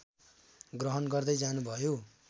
ग्रहण गर्दै जानुभयो